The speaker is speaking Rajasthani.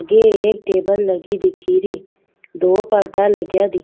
आगे एक टेबल लगी दिखे री दो पर्दा लगया दि --